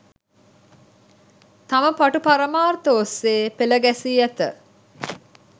තම පටු පරමාර්ථ ඔස්සේ පෙළගැසී ඇත.